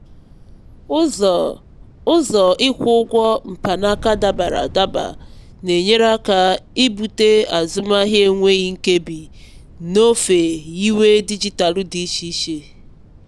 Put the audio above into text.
ụzọ ụzọ ịkwụ ụgwọ mkpanaka dabara adaba n'enyere aka ibute azụmahịa enweghị nkebi n'ofe nyiwe dijitalụ dị iche iche.